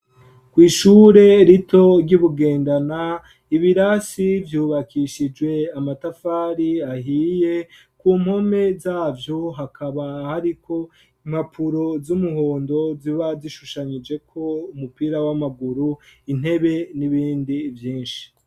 Kw'ishure rito ry'i bugendana, ibirasi byubakishijwe amatafari ahiye. Ku mpome zabyo hakaba hariko impapuro z'umuhondo ziba zishushanyije ko umupira, w'amaguru intebe n'ibindi vyinshi.